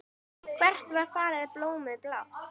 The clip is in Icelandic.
Hvert var farið blómið blátt?